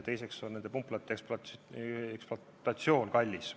Teiseks on ka nende pumplate ekspluatatsioon kallis.